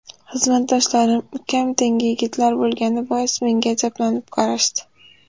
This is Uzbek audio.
Xizmatdoshlarim ukam tengi yigitlar bo‘lgani bois menga ajablanib qarashdi.